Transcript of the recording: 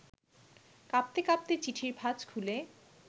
কাঁপতে কাঁপতে চিঠির ভাজ খুলে